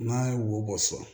N'a ye wo bɔ so